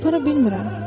apara bilmirəm.